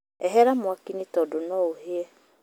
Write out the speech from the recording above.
Ehera mwakiinĩ tondũ noũhĩe